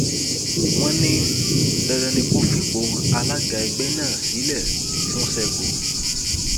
wọn ní dandan ni kó fipò alága ẹgbẹ náà sílẹ fún sẹgò